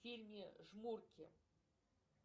в фильме жмурки